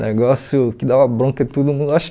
Negócio que dava bronca em todo mundo. Acho